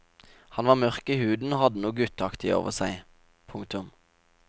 Han var mørk i huden og hadde noe gutteaktig over seg. punktum